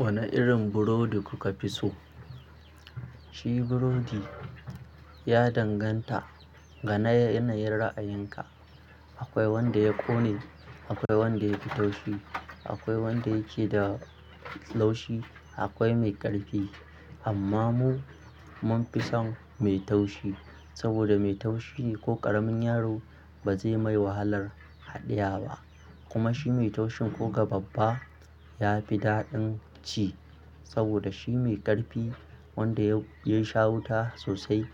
Wane irin burodi kuka fi so? Shi burodi ya danganta ga yanayin ra'ayinka. Akwai wanda ya ƙone, akwai wanda yake da taushi, akwai wanda yake da laushi, akwai mai ƙarfi. Amma mu mun fi son mai taushi. Saboda mai taushi ko ƙaramin yaro ba zai mai wahalar haɗiye ba. Kuma shi mai taushin ko ga babba ya fi daɗin ci. Saboda shi mai ƙarfi wanda ya sha wuta sosai